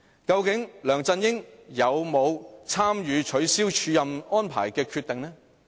究竟梁振英有否參與取消署任安排的決定？